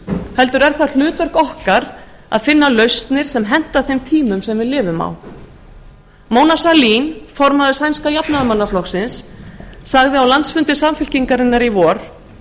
heldur er það hlutverk okkar að finna lausnir sem henta þeim tímum sem við lifum á mona falið formaður sænska jafnaðarmannaflokksins sagði á landsfundi samfylkingarinnar í vor